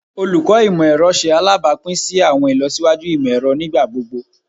Olukọ Imọ-ẹrọ ṣe alabapin si awọn ilọsiwaju imọ-ẹrọ nigbagbogbo